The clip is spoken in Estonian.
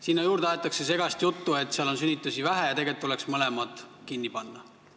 Sinna juurde aetakse segast juttu, et seal kandis on sünnitusi vähe ja tegelikult tuleks mõlemad osakonnad kinni panna.